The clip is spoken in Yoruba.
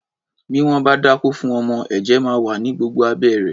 Bí wọ́n bá dákó fún ọmọ, ẹ̀jẹ̀ máa wà ní gbogbo abẹ́ rẹ̀.